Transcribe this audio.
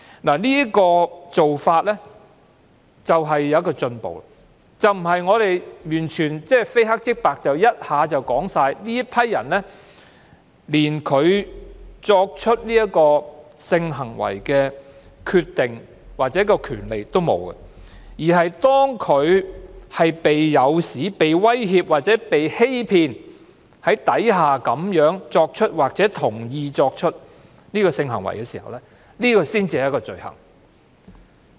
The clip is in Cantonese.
這種做法是一種進步，不是完全非黑即白地說有關人士連進行性行為的決定或權利也沒有，反而是有關人士被誘使、威脅或欺騙而進行或同意進行性行為才是罪行。